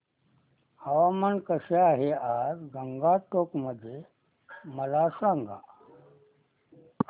हवामान कसे आहे आज गंगटोक मध्ये मला सांगा